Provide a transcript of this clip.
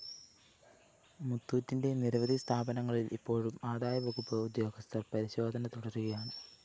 മുത്തൂറ്റിന്റെ നിരവധി സ്ഥാപനങ്ങളില്‍ ഇപ്പോഴും ആദായവകുപ്പ് ഉദ്യോഗസ്ഥര്‍ പരിശോധന തുടരുകയാണ്